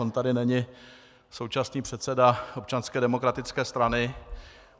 On tady není současný předseda Občanské demokratické strany.